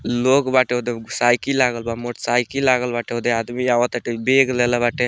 लोग बाटे ओदे साइकिल लागल बा मोटर साइकिल लागल बाटे ओदे आदमी अवता टे बैग लेले बाटे।